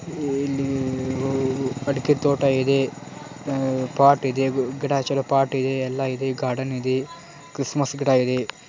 E-E ಇಲ್ಲಿ ಅಡಿಕೆ ತೋಟ ಇದೆ ಹ್ಮ್ಮ್ ಪಾಟ್ ಇದೆ ಗಿಡ ಚಲೋ ಪಾಟ್ ಇದೆ ಇಲ್ಲ ಇದೆ ಗಾರ್ಡನ್ ಇದೆ ಕ್ರಿಸ್ಮಸ್ ಗಿಡಯಿದೆ.